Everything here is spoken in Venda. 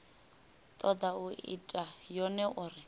toda u ita yone uri